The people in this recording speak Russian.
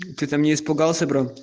ты там не испугался бро